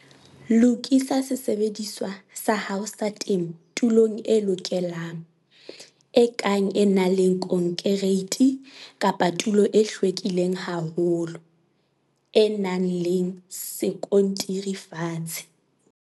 Lokisa sesebediswa sa hao sa temo tulong e lokelang, e kang e nang le konkereiti kapa tulo e hlwekileng haholo, e nang le sekontiri fatshe.